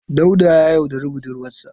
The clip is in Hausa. Dauda ya yaudari budurwarsa.